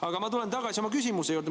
Aga ma tulen tagasi oma küsimuse juurde.